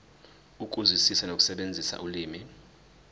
ukuzwisisa nokusebenzisa ulimi